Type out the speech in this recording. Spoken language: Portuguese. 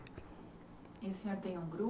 E o senhor tem um grupo?